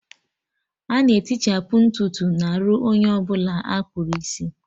Ana etichapu ntutu n'arụ onye ọbụla akpụrụ isi